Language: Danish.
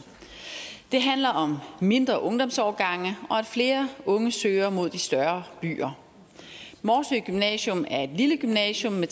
det handler om mindre ungdomsårgange og at flere unge søger mod de større byer morsø gymnasium er et lille gymnasium med